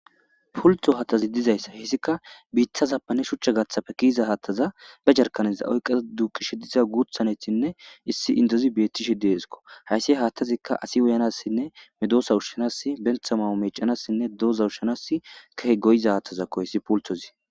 pultho hattazi dizayssa hissika biithazappane shuchcha gaathapfe kiiza haattaza ge jarkaniza oyqqaa duqishe diza guuthanetinne issi intozi beeti shi deeskko hayssi haattazikka asi woyanassinne medoosa ushshanass bentha mawo mecanassinne dooza ushshanas kahe goyiza haattazakko hissi pulthozi